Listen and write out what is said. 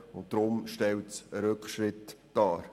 Deshalb stellt der Antrag einen Rückschritt dar.